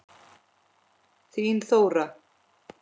Þín Þóra.